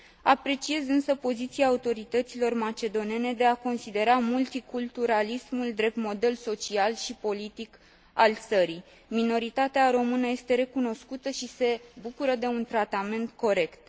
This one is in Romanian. Apreciez însă poziția autorităților macedonene de a considera multiculturalismul drept model social și politic al țării. Minoritatea română este recunoscută și se bucură de un tratament corect.